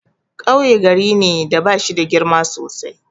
Kauye gari ne da bashida girma sosai.